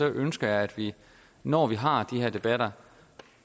ønske at vi når vi har de her debatter